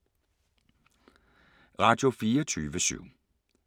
Radio24syv